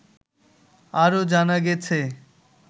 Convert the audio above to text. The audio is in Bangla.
আরও জানা গেছে